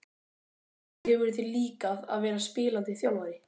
Hvernig hefur þér líkað að vera spilandi þjálfari?